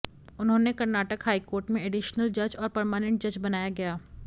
उन्होंने कर्नाटक हाईकोर्ट में एडिशनल जज और परमानेंट जज बनाया गया